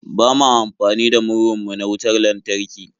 Ba ma amfani da murhun mu na wutar lantarki.